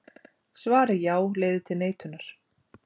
Svarið já leiðir til neitunar.